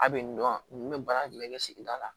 A bɛ nin dɔn nin bɛ baara jumɛn kɛ sigida la